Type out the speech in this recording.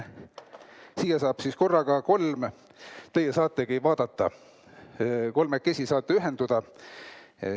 Teie saategi vaadata, kolmekesi saate ühenduda.